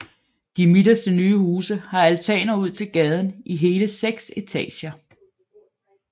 De midterste nye huse har altaner ud til gaden i hele seks etager